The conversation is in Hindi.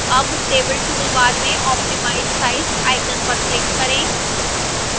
अब table toolbar में optimize size icon पर click करें